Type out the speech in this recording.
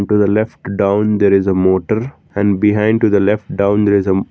to the left down there is a motor and behind to the left down there is a--